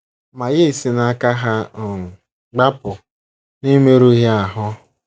Ma ya esi n’aka ha um gbapụ n’emerụghị ahụ.